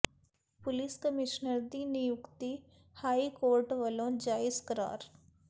police commissioner ਦੀ ਨਿਯੁਕਤੀ high court ਵੱਲੋਂ ਜਾਇਜ਼ ਕਰਾਰ